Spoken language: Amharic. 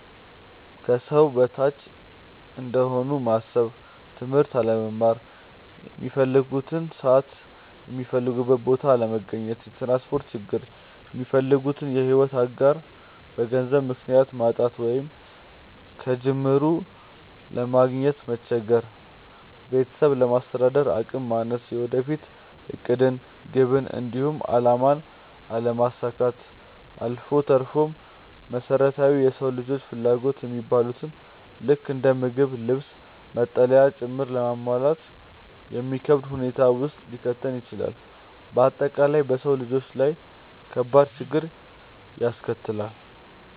ከሰው በታች እንደሆኑ ማሰብ፣ ትምህርት አለመማር፣ ሚፈልጉበት ሰዓት የሚፈልጉበት ቦታ አለመገኘት፣ የትራንስፖርት ችግር፣ የሚፈልጉትን የሕይወት አጋር በገንዘብ ምክንያት ማጣት ወይንም ከጅምሩ ለማግኘት መቸገር፣ ቤተሰብን ለማስተዳደር አቅም ማነስ፣ የወደፊት ዕቅድን፣ ግብን፣ እንዲሁም አላማን አለማሳካት አልፎ ተርፎም መሰረታዊ የሰው ልጆች ፍላጎት የሚባሉትን ልክ እንደ ምግብ፣ ልብስ፣ መጠለያ ጭምር ለማሟላት የሚከብድ ሁኔታ ውስጥ ሊከተን ይችላል። በአጠቃላይ በሰው ልጆች ላይ ከባድ ችግርን ያስከትላል።